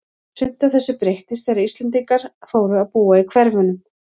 Sumt af þessu breyttist þegar Íslendingar fóru að búa í hverfunum.